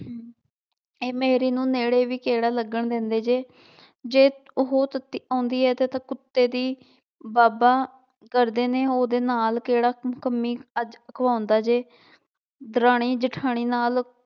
ਇਹ ਮੇਰੀ ਨੂੰ ਨੇੜੇ ਵੀ ਕਿਹੜਾ ਲੱਗਣ ਦਿੰਦੇ ਜੇ ਜੇ ਉਹ ਆਉਂਦੀ ਹੈ ਤਾਂ ਤਾਂ ਕੁੱਤੇ ਦੀ ਬਾਬਾ ਕਰਦੇ ਨੇ ਉਹਦੇ ਨਾਲ ਕਿਹੜਾ ਕੰਮੀ ਅੱਜ ਅਖਵਾਉਂਦਾ ਜੇ, ਦਰਾਣੀ-ਜੇਠਾਣੀ ਨਾਲ